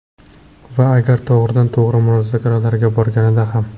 Va agar to‘g‘ridan to‘g‘ri muzokaralarga borganida ham.